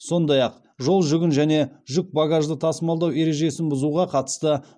сондай ақ жолжүгін және жүк багажды тасымалдау ережесін бұзуға қатысты